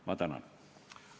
Ma tänan!